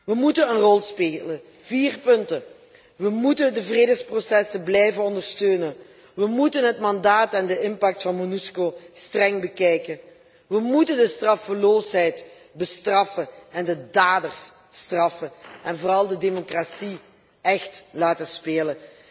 We moeten een rol spelen. Vier punten we moeten de vredesprocessen blijven ondersteunen, het mandaat en de impact van Monusco streng bekijken, de straffeloosheid bestraffen en de daders straffen, en vooral de democratie echt laten spelen.